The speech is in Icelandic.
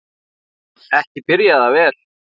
Ekki byrjaði það vel!